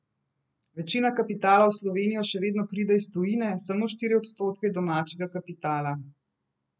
Večina kapitala v Slovenijo še vedno pride iz tujine, samo štiri odstotke je domačega kapitala.